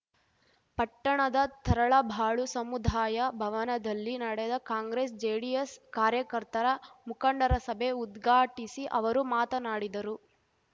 ಪಟ್ಟಣದ ತರಳಬಾಳು ಸಮುದಾಯ ಭವನದಲ್ಲಿ ನಡೆದ ಕಾಂಗ್ರೆಸ್‌ಜೆಡಿಎಸ್‌ ಕಾರ್ಯಕರ್ತರ ಮುಖಂಡರ ಸಭೆ ಉದ್ಘಾಟಿಸಿ ಅವರು ಮಾತನಾಡಿದರು